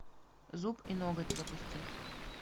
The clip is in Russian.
зуб и ноготь запусти